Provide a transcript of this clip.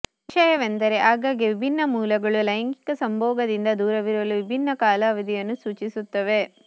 ವಿಷಯವೆಂದರೆ ಆಗಾಗ್ಗೆ ವಿಭಿನ್ನ ಮೂಲಗಳು ಲೈಂಗಿಕ ಸಂಭೋಗದಿಂದ ದೂರವಿರಲು ವಿಭಿನ್ನ ಕಾಲಾವಧಿಯನ್ನು ಸೂಚಿಸುತ್ತವೆ